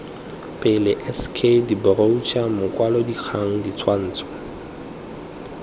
pele sk diboroutšhara makwalodikgang ditshwantsho